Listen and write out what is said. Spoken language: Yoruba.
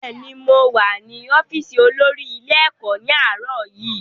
Bẹ́ẹ̀ni, mow à ní ọ́fíìsì olórí ilé-ẹ̀kọ́ ní àárọ̀ yìí.